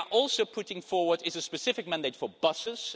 We are also putting forward a specific mandate for buses.